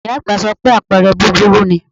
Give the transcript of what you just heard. Ìyá àgbà sọ pé àpẹrẹ búburú ni